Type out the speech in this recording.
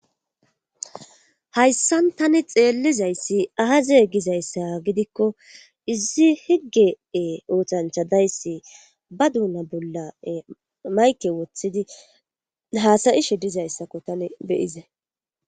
Hayssan tani xeellizayssi ahaze gizayssa gidikko izi higgee oothancha dayssi ba duuna bolla mayke woththidi haasayishe dizayssakko tani beyize..